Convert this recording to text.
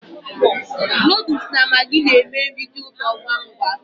Noodles na maggi na-eme nri dị ụtọ ngwa ngwa